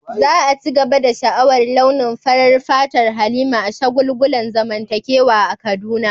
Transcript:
Za a ci gaba da sha'awar launin farar fatar Halima a shagulgulan zamantakewa a Kaduna.